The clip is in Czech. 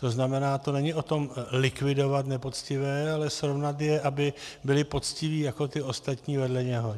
To znamená, to není o tom likvidovat nepoctivé, ale srovnat je, aby byli poctiví jako ti ostatní vedle něho.